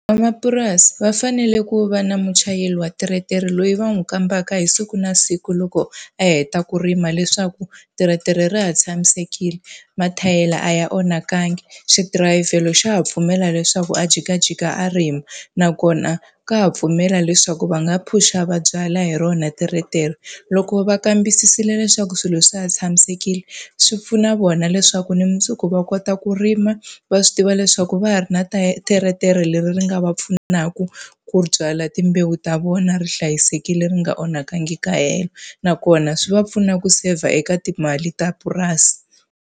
Van'wamapurasi va fanele ku va na muchayeri wa teretere loyi va n'wi kombaka hi siku na siku loko a heta ku rima leswaku teretere ra ha tshamisekile, mathayere a ya onhakangi, xidirayivhelo xa ha pfumela leswaku a jikajika a rima, nakona ka ha pfumela leswaku va nga phush-a va byalwa hi rona teretere. Loko va kambisisile leswaku swilo swi ha tshamisekile, swi pfuna vona leswaku na mundzuku va kota ku rima, va swi tiva leswaku va ha ri na teretere leri ri nga va pfunaka ku byala timbewu ta vona ri hlayisekile ri nga onhakangi kahelo. Nakona swi va pfuna ku seyivha eka timali ta purasi.